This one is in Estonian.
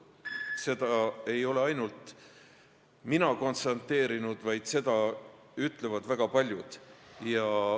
Seda ei ole ainult mina konstateerinud, vaid seda ütlevad väga paljud.